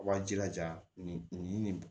A b'aw jilaja nin nin nin nin